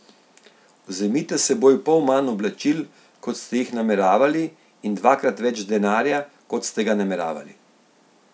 Vzemite s seboj pol manj oblačil, kot ste jih nameravali, in dvakrat več denarja, kot ste ga nameravali.